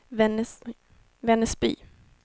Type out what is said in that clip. Vännäsby